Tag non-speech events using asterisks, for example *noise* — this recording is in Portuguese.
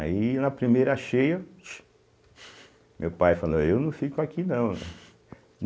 Aí na primeira cheia chu, meu pai falou, eu não fico aqui não. *laughs*